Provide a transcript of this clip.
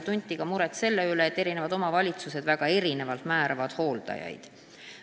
Veel tekitab muret see, et eri omavalitsused määravad hooldajaid väga erinevalt.